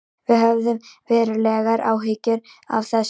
Við höfum verulegar áhyggjur af þessu